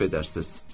Əfv edərsiz.